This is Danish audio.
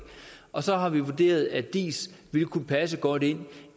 og så har vi vurderet at diis ville kunne passe godt ind